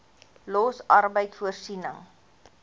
los arbeid voorsiening